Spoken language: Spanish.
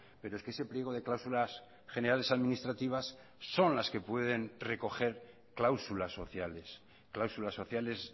pero es que ese pliego de cláusulas generales administrativas son las que pueden recoger cláusulas sociales cláusulas sociales